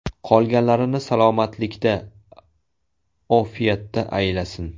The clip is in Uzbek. Qolganlarini salomatlikda, ofiyatda aylasin!